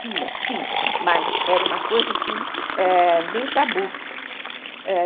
Tinha, sim, mas era uma coisa assim, meio tabu, é